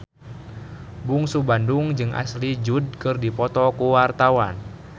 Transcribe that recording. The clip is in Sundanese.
Bungsu Bandung jeung Ashley Judd keur dipoto ku wartawan